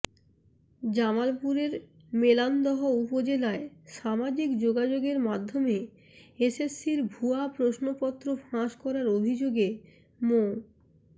জামালপুরের মেলান্দহ উপজেলায় সামাজিক যোগাযোগ মাধ্যমে এসএসসির ভুয়া প্রশ্নপত্র ফাঁস করার অভিযোগে মো